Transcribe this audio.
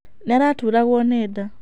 Nĩ araturagwo nĩ nda.